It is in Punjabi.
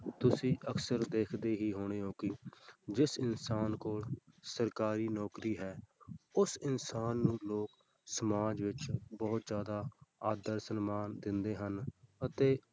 ਤੁਸੀਂ ਅਕਸਰ ਦੇਖਦੇ ਹੀ ਹੋਣੇ ਹੋ ਕਿ ਜਿਸ ਇਨਸਾਨ ਕੋਲ ਸਰਕਾਰੀ ਨੌਕਰੀ ਹੈ ਉਸ ਇਨਸਾਨ ਨੂੰ ਲੋਕ ਸਮਾਜ ਵਿੱਚ ਬਹੁਤ ਜ਼ਿਆਦਾ ਆਦਰ ਸਨਮਾਨ ਦਿੰਦੇ ਹਨ ਅਤੇ